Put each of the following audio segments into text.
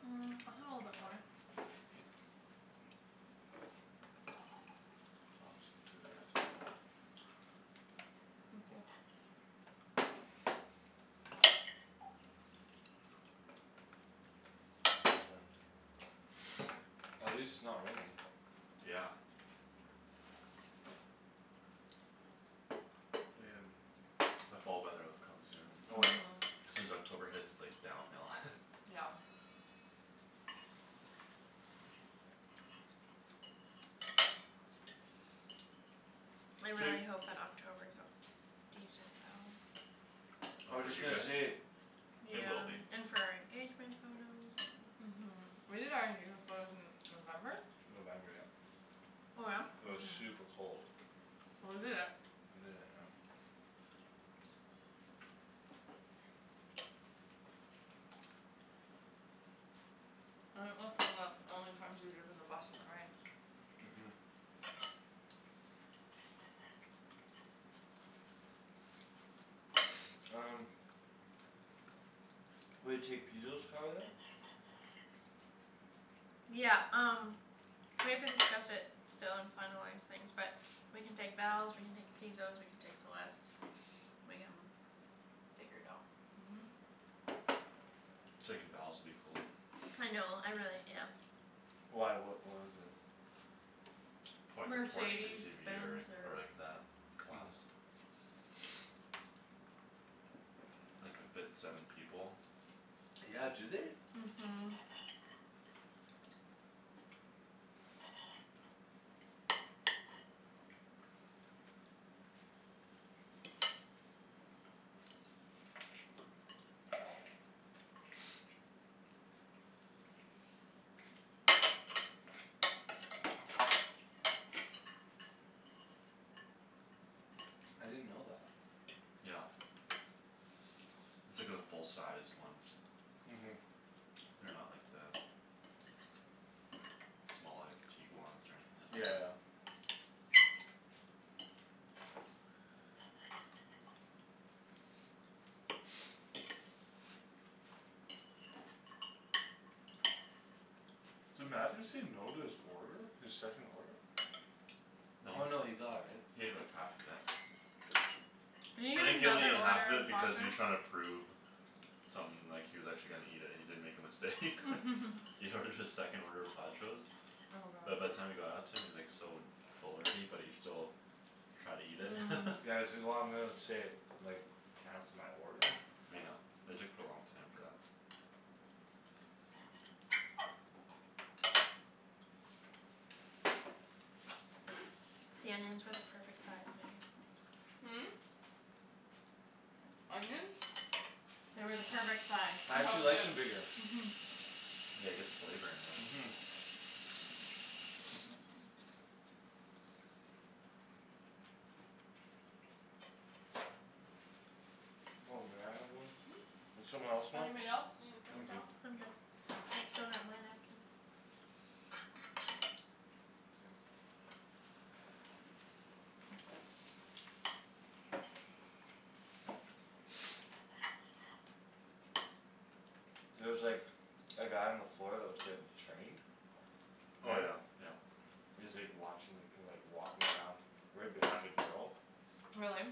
Mm, I'll have a little bit more. I'll have some too if you have some left. Thank you. Mhm. Thanks, man. At least it's not raining. Yeah. The fall weather'll come soon. Oh, yeah. Mhm. Soon as October hits, like, downhill. Yeah. I So you really hope that October's a decent though. I Oh, was for just you gonna guys? say It will Yeah. be. And for our engagement photos and Mhm. We did our engagement photos in November? November, yep. Oh yeah? It was Mhm. super cold. Well, we did it. We did it, yep. I think that's one of the only times we've driven the bus in the rain. Mhm. Um Will you take Pizo's car then? Yeah, um we have to discuss it still and finalize things but We can take Val's, we can take Pizo's, we can take Celeste's. We can figure it out. Mhm. Taking Val's would be cool. I know, I really, yes. Why, what, what is it? Probably could Porsche Mercedes SUV Benz or, or or like that class. It could fit seven people. Yeah, do they? Mhm. I didn't know that. Yep. It's like the full-sized ones. Mhm. They're not like the Small, like Tiguans or anything like Yeah, yeah. that. Did Matthew say no to his order? His second order? Oh, No. no, he got it, right? He had like half of it. Did he I eat think he only another needed half order of of it because he was Pajo's? trying to prove Something, like, he was actually gonna eat it and he didn't make a mistake. He ordered his second order of Pajo's. Oh But by god. the time it got out to him he was, like, so Full already but he still Tried to eat it. Yeah, he's like, "Oh, I'm gonna save, like, time for my order?" Yeah, it took a long time for that. The onions were the perfect size, Megan. Hmm? Onions? They were the perfect size. I Oh, actually like good. them bigger. Mhm. Yeah, it gets flavor in there. Mhm. Oh, may I have one? Hmm? Does someone else want? Anybody else need a I'm paper good. towel? I'm good. I still got my napkin. K. There was, like A guy on the floor that was getting Trained? Oh, Paul? yeah, yeah. He was, like, watching, like, he was, like, walking around Right behind a girl. Really?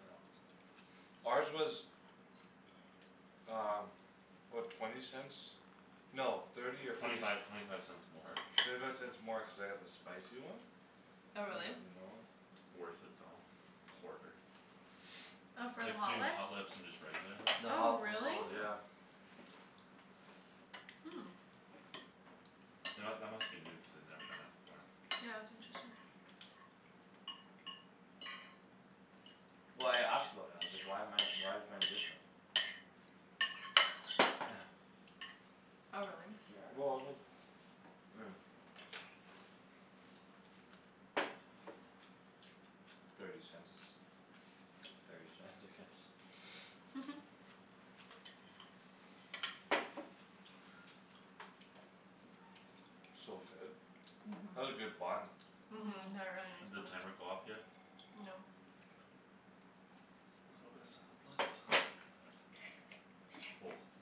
Yeah. Ours was Um, what? Twenty cents? No, thirty or Twenty fifty five, c- twenty five cents more. Thirty five cents more cuz I got the spicy one. They Oh, really? had the normal. Worth it though, quarter. Oh, for the Like Hot Jin Lips? Hot Lips and just regular lips. The Oh Oh, Hot, the really? Hot really? Lips, yeah. Yeah. Hmm. You know what? That must be new cuz they'd never done that before. Yeah, it's interesting. Well, I asked about it. I was like, "Why am I, why is mine different?" Oh, really? Yeah, well, just I mean Thirty cents is thirty cents, I guess. So good. That's a Mhm. good bun. Mhm, Mhm. they're really nice Did plums. timer go off yet? No. Okay. A little bit of salad left.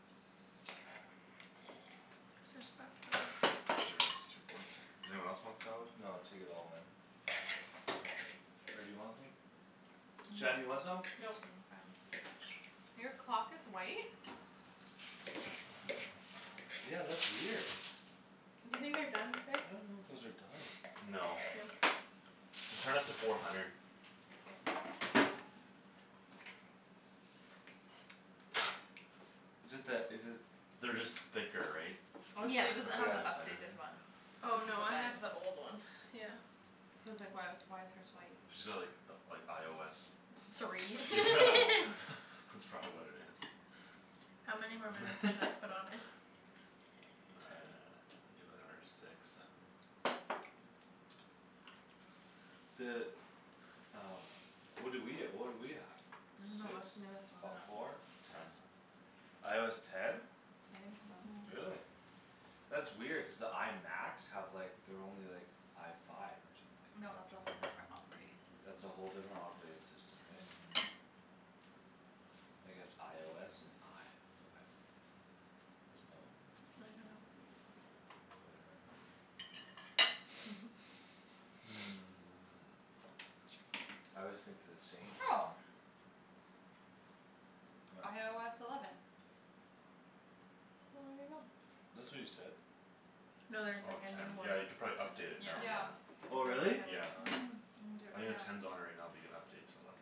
Just spot kill 'em. Pretty much just two forks in here. Does anyone else want salad? No, take it all man. Or do you want some? Shan, do you No. want some? Nope. I'm fine. Your clock is white? Yeah, that's weird. Do you think they're done, babe? I don't know if those are done. No. No? Just turn up to four hundred. K. Is it that, is it They're just thicker, right? So Oh, just Yeah. try she to doesn't cook all the have way the the Yeah. center updated there. one. Oh Cuz of no, the I bag. have the old one, yeah. Cuz I was, like, "Why was, why is hers white?" She's got like the, like, IOS. Three. Yeah, Cool. that's probably what it is. How many more minutes do I put on it? Ten. Do, like, another six, seven. The um What do we, uh what do we have? I dunno, Six? what's the newest on Fo- that? four? Ten. IOS ten? I think so. Mhm. Really? That's weird cuz the I Macs have, like, they're only, like, I five No, or that's something, right? a whole different operating system. That's a whole different operating system, hey? I guess IOS and I five. There's no I dunno. Whatever. Sure. I always think they're the same. What? IOS eleven. Well, Well, there there you you go. go. That's what you said. No, No, there's, there's, Oh, like, like, a a new ten. one new Yeah, you one. could probably too, update it yeah. now, Yeah. yeah. Oh Already really? have a Yeah. new one. Mhm. I'm gonna do it I think right the now. ten's on it right now but you can update to eleven.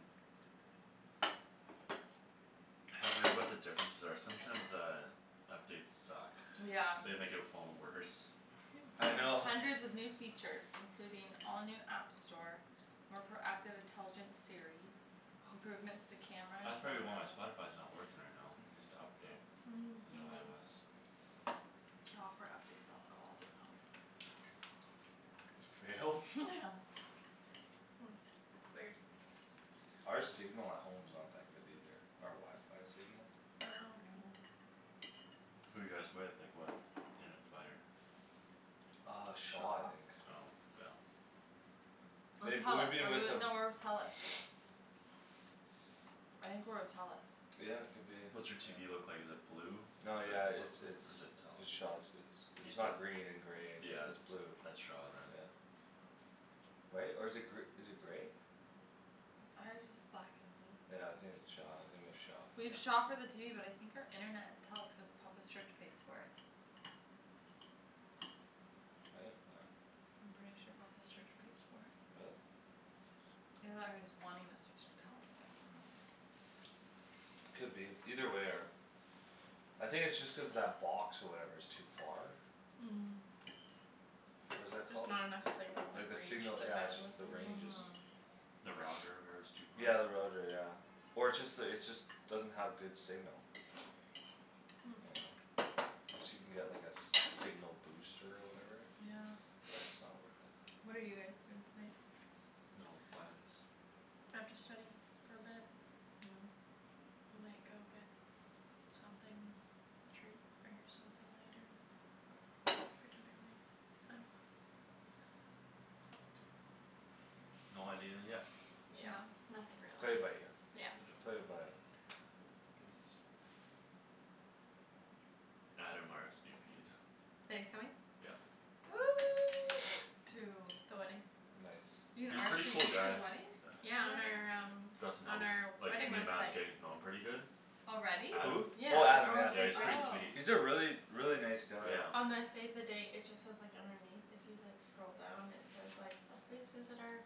Haven't read what the differences are. Sometimes the Updates suck. Yeah. They make your phone worse. Yum I know. Hundreds of new features, including all new app store More proactive intelligent Siri Improvements to camera and That's probably photo why my Spotify's not working right now. Needs to update. New Maybe IOS. Software update failed. Oh, well, I'll do it at home. For real? Yeah. Hmm, weird. Our signal at home's not that good either. Our wifi signal. Oh, okay. No. Who you guys with? Like what internet provider? Uh Shaw, I Shaw. think. Oh, yeah. Or They, we've Telus. Are been we with with, them no, we're with Telus. I think we're with Telus. Yeah, could be, What's your TV yeah. look like, is it blue? Or No, yeah, it's, what's it? Or is it's, it it's Shaw. it's, it's Telus? It's It's the not green and grey; it's, Yeah, it's that's, blue. that's Shaw then. Yeah. Right? Or is it gr- is it grey? Ours is black and blue. Yeah, I think it's Shaw, I think we have Shaw. We have Yeah. Shaw for the TV but I think our internet is Telus cuz Papa's church pays for it. I didn't know that. I'm pretty sure Papa's church pays for it. Really? Either that or he's wanting to switch to Telus. I don't remember. Could be. Either way our I think it's just cuz that box or whatever is too far? What is that Just called? not enough signal Like like the reach signal, the yeah, it's just bandwidth the or range is whatever. Mhm. The router, whatever, is too far? Yeah, the router, yeah. Or it's just the, it's just Doesn't have good signal. You know? Guess you can get like a s- signal booster or whatever? Yeah. But it's not worth it. What are you guys doing tonight? No plans. I have to study for a bit. Oh. We might go get something, treat or something later after dinner maybe, I dunno. No idea yet. Yeah, nothing Play it by really. ear. Yeah. Play it by Oh my goodness. Adam RSVP'd. That he's coming? Yep. To The wedding. Nice. You can He's pretty RSVP cool to guy. the wedding? Yeah, on our Already? um Got to know on him. our Like wedding me and Matt are website. getting to know him pretty good. Already? Who? Adam. Yeah, Oh Adam? Adam, our yeah. Yeah, website's he's ready. pretty Oh. sweet. He's a really, really, nice guy. Yeah. On the save the date it just says, like, underneath if you, like, scroll down it says like, uh "Please visit our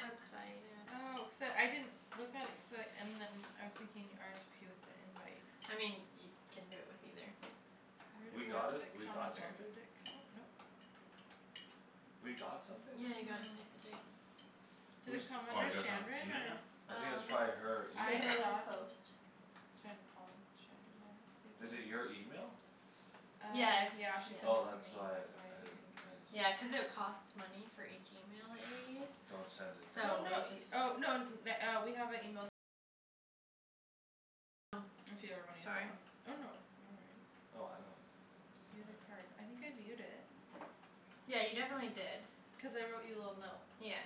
website at" Oh, cuz uh I didn't Look at it cuz I, and then I was thinking RSVP with the invite. I mean, you can do it with either. We Where, got what a, does it we come got under? something? Did it come out, nope. We got something? Yeah, you got a Mhm. save the date. Did it Whose come Oh, under you guys haven't Shandryn seen it yet? or I think it's Um, probably her email. I Paperless thought Post. Shan and Paul and Shandryn, there it is, save Is the it date. your email? Uh Yeah, it's, yeah. yeah, she sent it Oh to me; that's why that's I, why I you didn't, didn't get I it. didn't Yeah, see. cuz it costs money for each email that you use Don't send it Oh, So to no, we anyone. just y- oh, no n- na- uh we have a email If you ever wanna use that one. Oh, no, no worries. Oh I don't you know, View it the doesn't matter. card. I think I viewed it. Yeah, you definitely did. Cuz I wrote you a little note. Yeah.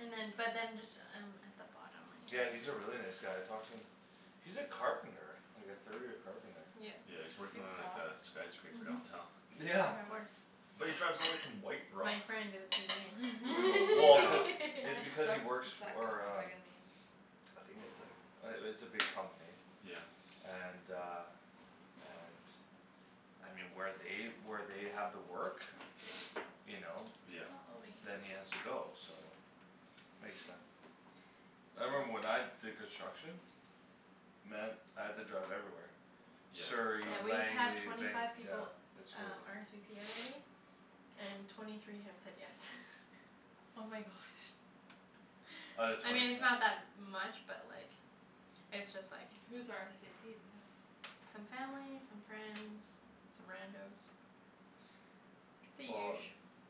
And then, but then just um at the bottom when Yeah, you he's a really nice guy. I talked to him. He's a carpenter. Like a third year carpenter. Yep. Yeah, he's Do working you He on like floss? a skyscraper downtown. Mhm, Yeah. of course. But he drives all the way from White Rock. My friend did the Brutal, well, cuz CVing. It's Except she because he works suck and for it's um bugging me. I think it's, like, uh it's a big company. Yeah. And uh and I mean, where they, where they have the work You know Yeah. It's not loading. Then he has to go, so Makes sense. I remember when I did construction Man, I had to drive everywhere Yeah, Surrey, Yeah, we've it sucks. had Langley, twenty Vanc- five yeah. people It's um crazy. RSVP already. And twenty three have said yes. Oh my gosh. Out of I mean, twenty it's fi- not that much but, like It's just, like Who's RSVP'd yes? Some family, some friends, some rando's The Well, usu.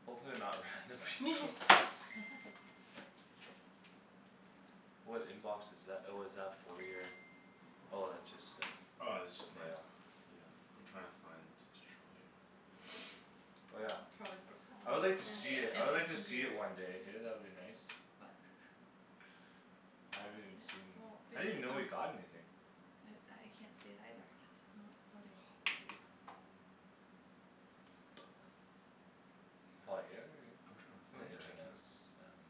hopefully they're not random people. What inbox is tha- oh, is that for your Oh, that's just uh Oh, this is just my mail. Yeah. I'm trying to find to show you. Oh, yeah. Probably the I would like to see Yeah, it, I would and like to his see it computers. one day, hey? That would be nice. What? I haven't even Yeah, seen, well, I babe, didn't even know you it's like got anything. I can't see it either. Not loading. Poop. Paul, are you here, are you I'm trying to here? find The it. I can't internet's down.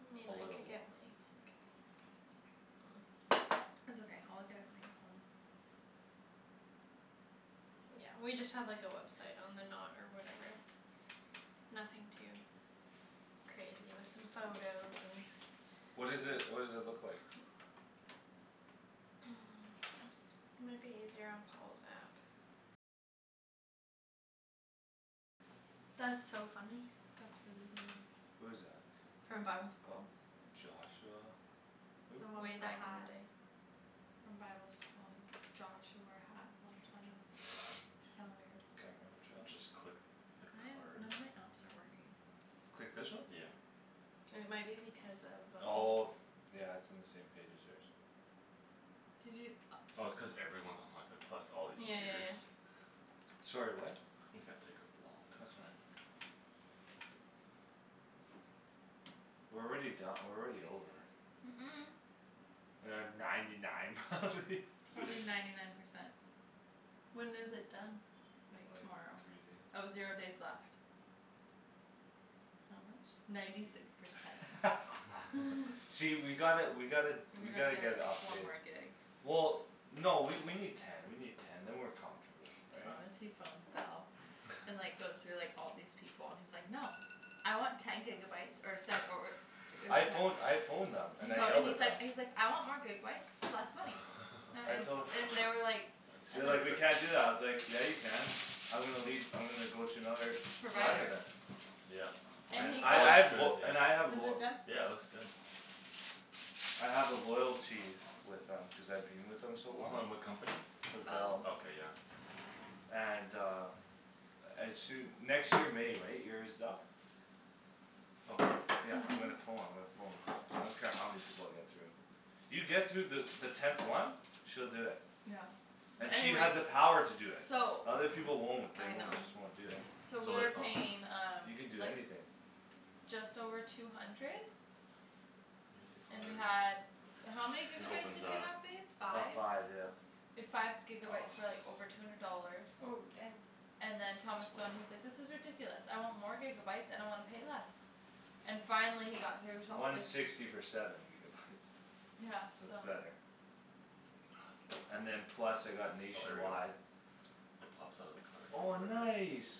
Hmm, A I little could get water. mine, I think. It's okay, I'll look at it when I get home. Yeah, we just have, like, a website on the Knot or whatever. Nothing too crazy, with some photos and What is it, what does it look like? Might be easier on Paul's app. That's so funny. That's really weird. Who is that? From bible school. Joshua, who? The one Way with the back in hat. the day. From bible school, Josh who wore a hat all the time. It's kinda weird. Can't remember Josh. Just click the Why is it card. none of my apps are working? Click this one? Yeah. It might be because of um Oh. Yeah, it's in the same page as hers. Did you, oh. Oh, it's cuz everyone's on wifi plus all these Yeah, yeah, yeah, computers. yeah. Sorry, what? It's gonna take a long That's fine. time. We're already don- we're already over. Mm- mm. We're at ninety nine probably. Probably ninety nine percent. When is it done? Like Like tomorrow. three Oh, zero days days. left. How much? Ninety six percent. See, we gotta, we gotta, We we gotta gotta get a get, like, one update. more gig. Well, no, we, we need Ten, we need ten, then we're comfortable, right? Honestly phones Bell. And, like, goes through, like, all these people. And he's like, "No!" "I want ten gigabyes or se- or" I phone, I phoned them He and I phoned yelled and he's at them. like, he's like, "I want more gigabyes for less money." That I and, tol- and they were like They And were That's like, like "We can't do epic. that." I was like "Yeah, you can." "I'm gonna leave, I'm gonna go to another" "provider Provider. then." Yep. It, And And he I, that I got looks have good, lo- yeah. and I have Is lo- it done? Yeah, it looks good. I have a loyalty with them cuz I've been with them so long. Hold on, what company? With Bell. Bell. Okay, yeah. And uh As soo- next year May, right? Year's up. Oh. Yeah, I'm gonna pho- I'm gonna phone. I don't care how many people I get through. You get through the, the tenth one. She'll do it. Yeah. And But she has anyways the power to do it. So The other people won't. They I know. won't, just won't do it. So So we like, were oh. paying um You can do like anything. Just over two hundred You hit the And we card. had, how many It gigabytes opens did we up. have, babe? About Five? five, yeah. We had five gigabytes for, like, over two hundred dollars. Oh, dang. And Supposed then Thomas to phoned, he's swipe. like, "This is ridiculous. I want more gigabytes and I wanna pay less." And finally he got through till One it sixty for seven gigabytes. Yeah, So so. it's better. And then It's plus I got Oh, here we go. nationwide It pops out of the card Oh, or whatever. nice.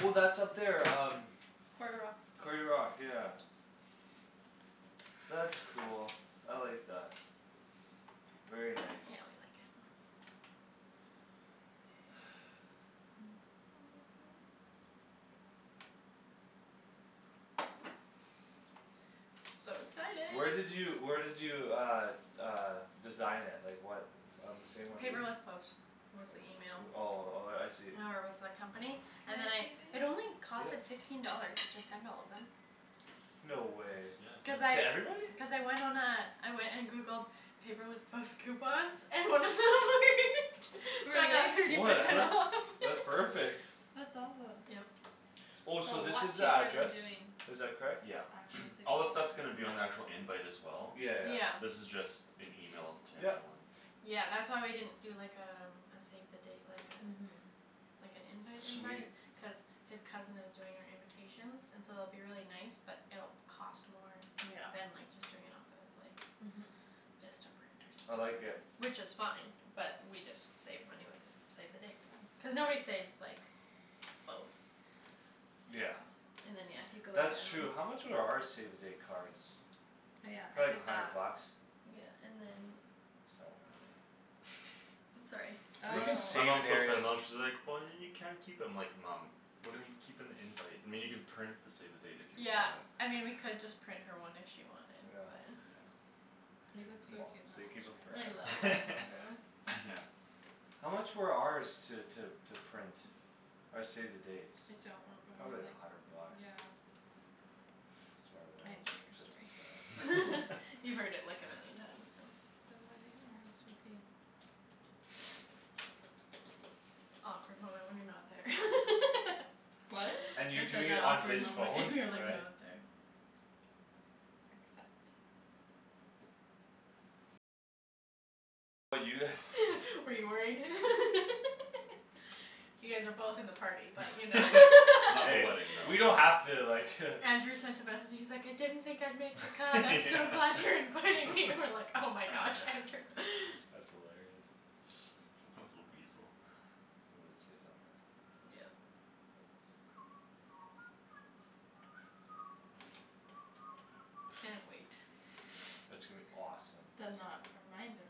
Oh, that's up there um Quarry Rock. Quarry Rock, yeah. That's cool; I like that. Very Yeah, we nice. like it more. So Where excited. did you, where did you uh Uh design it? Like what On the same one we'd Paperless Post was the Like, email. uh, oh, oh, yeah, I see. Or was the company Can and then I I, see, it babe? only cost, Yep. like, fifteen dollars to send all of them. No way. Cuz That's, yeah, good. To I, everybody? cuz I went on a I went and Googled Paperless Post coupons And then it worked. So I got Really? thirty percent Whatever, off. that's perfect. That's awesome. Yep. Oh, That's a so this lot is the cheaper than address? doing Is that correct? Yeah. Actual save All this stuff's the dates. gonna be on the actual invite as well. Yeah. Yeah, yeah. This is just an email to Yep. everyone. Yeah, that's why we didn't do, like, um a save the date, like uh Mhm. Like an invite Sweet. invite cuz His cousin is doing our invitations And so it'll be really nice but it'll cost more Yeah, Than, like, just doing it off of, like, mhm. Vistaprint or I like something. it. Which is fine but we just save money with the Save the dates then, cuz nobody saves, like, both. Yeah. And then, yeah, if you go That's down true. How much were our save the date cards? Oh, yeah, I Probably a did that. hundred bucks. Yeah, and then It's not worth it. Sorry. You can My mom thinks I'm not, she's like, "But then you can't keep 'em." I'm like, "Mom." "We're gonna gi- keep an invite, I mean, you can print the save the date if you Yeah, want." I mean we could just print her one if she wanted but Yeah. Yeah. Moms. They keep 'em I love forever. that photo. Yeah. How much were ours to, to, to print? Our save the dates? I don't re- Probably remember, like a hundred like, bucks. yeah. Sorry, when I it was didn't like hear your fifty story. five or You've heard it like a million times, so. The wedding RSVP. Awkward moment when you're not there. What? And you're I said, doing "That it on awkward his and phone, you're, like, right? not there." Accept. Were you worried? You guys are both in the party but you know Not the Hey, wedding, though. we don't have to like Andrew sent a message; he's like, "I didn't think I'd make the cut. I'm so Yeah. glad you're inviting me!" And I'm like, "Oh my gosh, Andrew." That's hilarious. Little weasel. He would say something like that. Yeah. Yeah. Can't wait. It's gonna be awesome. The Knot reminder.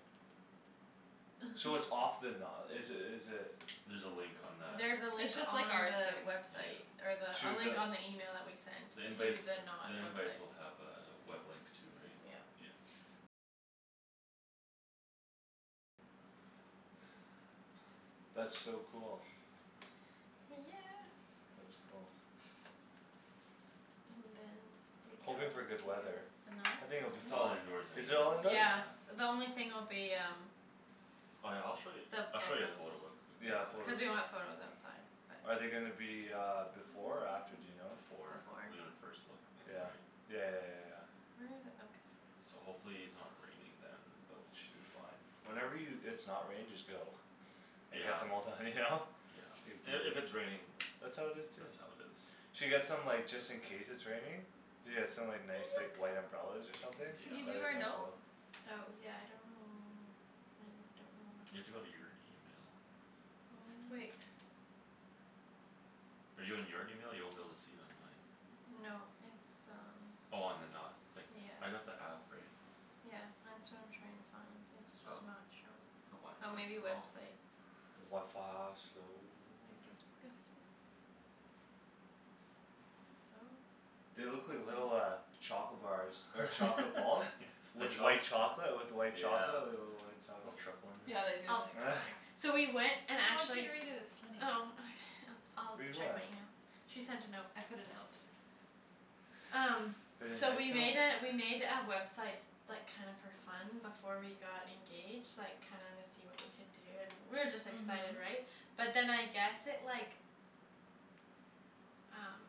So it's off the na- is it, is it There's a link on that. There's a link It's just on like ours, the babe. website. Yeah. Or the, a To link the on the email that we sent. The To invites, the Knot the invites website. will have a web link too, right? Yeah. Yeah. That's so cool. Yeah. That's cool. And then we go Hoping for good weather. to The Knot? I think Can it'll be It's all fine. you indoors Is anyways, it all indoor? Yeah, yeah. the only thing will be um Oh, yeah, I'll show you, The I'll show you a photo photos. quickly Yeah, Cuz photos. we wanna have photos outside, Are but they gonna be uh before or after, do you know? Before. We're gonna Before. first look in the Yeah, night. yeah, yeah, yeah, yeah. Where are the, oh So guest list. hopefully it's not raining then but we We should should be be fine. fine. Whenever you, it's not raining just go. And get Yeah. the mo- the, you know? Say "Beat And if it." it's raining, That's that's how how it it is too. is. Should get some, like, just in case it's raining. Yeah, some, like, nice, like, white umbrellas or something. Can you do That'd be our kinda note? cool. Oh yeah, I don't know, I don't know You where have to my go to phone your email. My phone. Wait. Are you in your email? You won't be able to see it on mine. No, it's um Oh on The Knot. Like, Yeah. I got the app, right? Yeah, that's what I'm trying to find. It's Oh, just not showing. the Oh, maybe wifi's slow. website. The wifi slow. Then guestbook. Guestbook. No. They look like little uh Chocolate bars or chocolate balls. With White. white chocolate, with white chocolate, Yeah. like, little white Little chocolates. truffle in there. Yeah, they do. I'll figure it out later. So we went and No, I want you actually to read it, it's funny. Oh okay, I'll d- Read I'll check what? my email. She sent a note. I put a note. Um, Pretty so we nice note? made a, we made a website Like, kinda for fun before we got engaged. Like, kinda wanna see what we could do and we were just excited, Mhm. right? But then I guess it, like Um